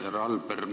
Härra Alber!